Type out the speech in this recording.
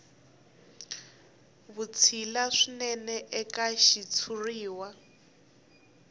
ya vutshila swinene eka xitshuriwa